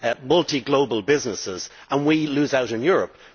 multiglobal businesses, and we lose out in Europe?